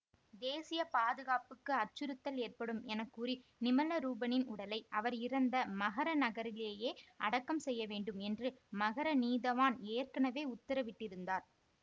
தேசிய பாதுகாப்புக்கு அச்சுறுத்தல் ஏற்படும் என கூறி நிமலரூபனின் உடலை அவர் இறந்த மகர நகரிலேயே அடக்கம் செய்யவேண்டும் என்று மகர நீதவான் ஏற்கனவே உத்தரவிட்டிருந்தார்